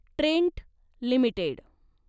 Trent limited